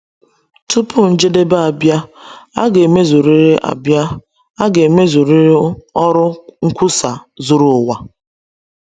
Tupu njedebe abịa, a ga-emezurịrị abịa, a ga-emezurịrị ọrụ nkwusa zuru ụwa.